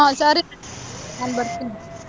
ಹಾ ಸರಿ, ನಾನ್ ಬರ್ತೀನಿ .